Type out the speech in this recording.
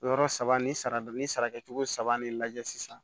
Yɔrɔ saba ni sara ni sara kɛcogo saba ni lajɛ sisan